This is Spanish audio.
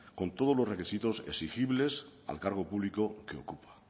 con todos los requisitos exigibles al cargo público que ocupa